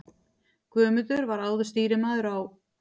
Guðmundur var áður stýrimaður á